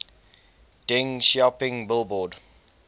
deng xiaoping billboard